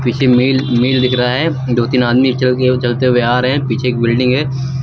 पीछे मिल मिल दिख रहा है दो तीन आदमी चल के हुए चलते हुए नजर आ रहे हैं पीछे एक बिल्डिंग है।